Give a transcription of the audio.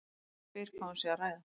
Spyr hvað hún sé að æða.